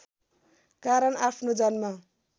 कारण आफ्नो जन्म